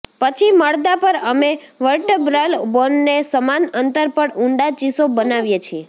પછી મડદા પર અમે વર્ટેબ્રલ બોનને સમાન અંતર પર ઊંડા ચીસો બનાવીએ છીએ